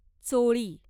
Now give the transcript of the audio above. चोळी